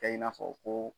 Kɛ i n'a fɔ ko